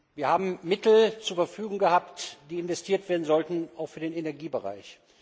Wir haben Mittel zur Verfügung gehabt, die investiert werden sollten, auch für den Energiebereich.